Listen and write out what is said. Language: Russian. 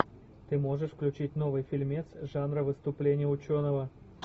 ты можешь включить новый фильмец жанра выступление ученого